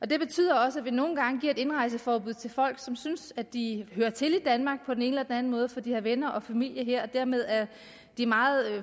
det betyder også at vi nogle gange giver indrejseforbud til folk som synes at de hører til i danmark på den ene eller den anden måde for de har venner og familie her og dermed er de meget